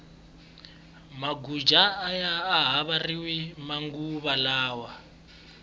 maguja aya ha mbariwi manguva lawa